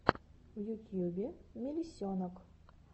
в ютьюбе мелисенок